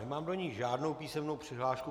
Nemám do ní žádnou písemnou přihlášku.